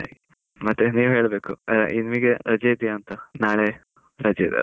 ಮತ್ತೆ ನಿವೇ ಹೆಳ್ಬೇಕು, ನಿಮಿಗೆ ರಜೆ ಇದೆಯಾ ಅಂತ? ನಾಳೆ ರಜೆ ಇದೆ ಅಲ್ಲಾ?